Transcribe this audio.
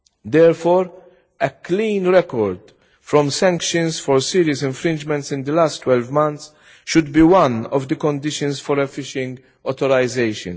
Therefore, a clean record from sanctions for serious infringements in the last 12 months should be one of the conditions for a fishing authorisation.